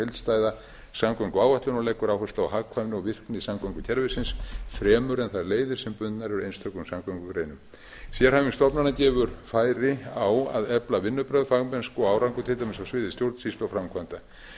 heildstæða samgönguáætlun og leggur áherslu á hagkvæmni og virkni samgöngukerfisins fremur en þær leiðir sem bundnar eru einstökum samgöngugreinum sérhæfing stofnana gefur færi á að efla vinnubrögð fagmennsku og árangur til dæmis á sviði stjórnsýslu og framkvæmda